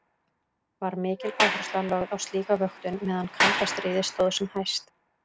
Var mikil áhersla lögð á slíka vöktun meðan kalda stríði stóð sem hæst.